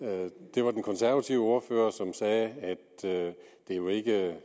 det var den konservative ordfører som sagde at det jo ikke